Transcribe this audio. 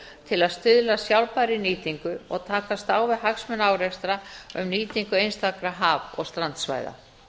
til að stuðla að sjálfbærri nýtingu og takast á við hagsmunaárekstra um nýtingu einstakra haf og strandsvæða